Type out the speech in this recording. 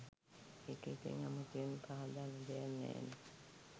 ඒක ඉතිං අමුතුවෙන් පහදන්න දෙයක් නෑනෙ